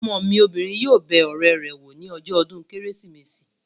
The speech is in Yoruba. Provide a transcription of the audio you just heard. Ọmọ mi obìnrin yóò bẹ ọ̀rẹ́ rẹ̀ wò ní ọjọ́ ọdún kérésìmesì